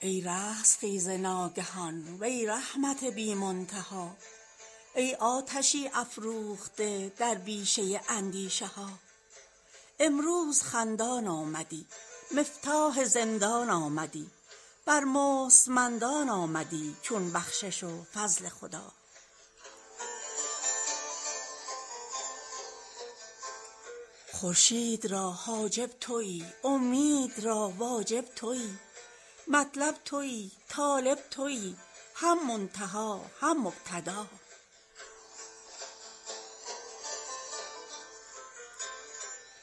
ای رستخیز ناگهان وی رحمت بی منتها ای آتشی افروخته در بیشه اندیشه ها امروز خندان آمدی مفتاح زندان آمدی بر مستمندان آمدی چون بخشش و فضل خدا خورشید را حاجب تویی اومید را واجب تویی مطلب تویی طالب تویی هم منتها هم مبتدا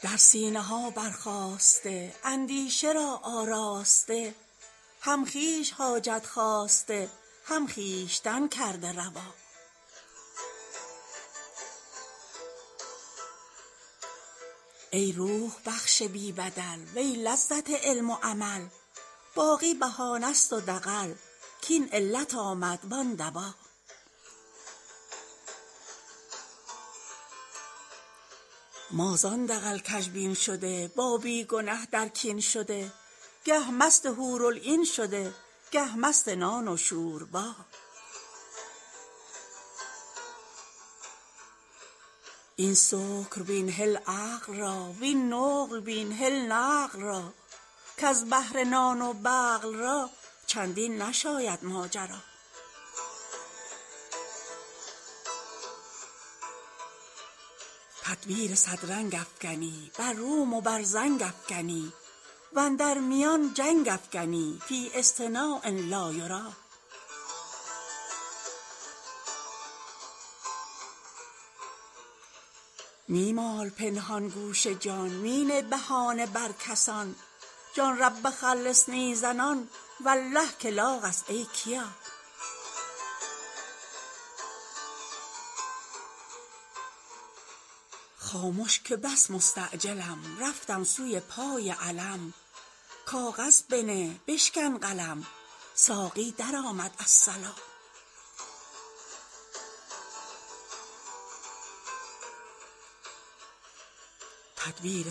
در سینه ها برخاسته اندیشه را آراسته هم خویش حاجت خواسته هم خویشتن کرده روا ای روح بخش بی بدل وی لذت علم و عمل باقی بهانه ست و دغل کاین علت آمد وان دوا ما زان دغل کژبین شده با بی گنه در کین شده گه مست حورالعین شده گه مست نان و شوربا این سکر بین هل عقل را وین نقل بین هل نقل را کز بهر نان و بقل را چندین نشاید ماجرا تدبیر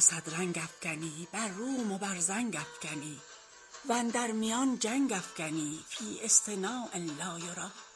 صد رنگ افکنی بر روم و بر زنگ افکنی و اندر میان جنگ افکنی فی اصطناع لا یری می مال پنهان گوش جان می نه بهانه بر کسان جان رب خلصنی زنان والله که لاغ است ای کیا خامش که بس مستعجلم رفتم سوی پای علم کاغذ بنه بشکن قلم ساقی درآمد الصلا